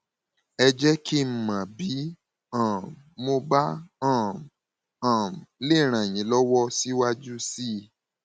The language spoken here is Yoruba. ẹ jẹ kí n mọ bí um mo bá um um lè ràn yín lọwọ síwájú sí i